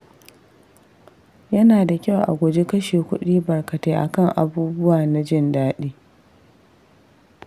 Yana da kyau a guji kashe kuɗi barkatai akan abubuwa na jin daɗi.